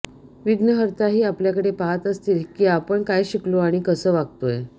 विघ्नहर्ताही आपल्याकडे पहात असतील की आपण काय शिकलो आणि कसं वागतोय